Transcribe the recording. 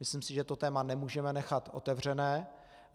Myslím si, že to téma nemůžeme nechat otevřené.